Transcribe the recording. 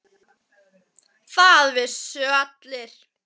Það vissu það allir.